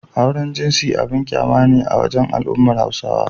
Auren jinsi abun ƙyama ne a wajen al'ummar Hausawa.